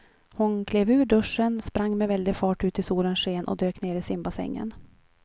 Hon klev ur duschen, sprang med väldig fart ut i solens sken och dök ner i simbassängen.